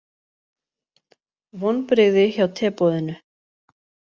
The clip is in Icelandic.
Vonbrigði hjá teboðinu